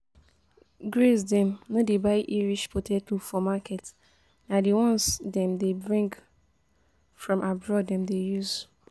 Grace dem no dey buy irish potato for market, na the ones dem dey bring from abroad dem dey use